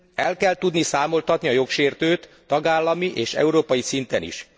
El kell tudni számoltatni a jogsértőt tagállami és európai szinten is.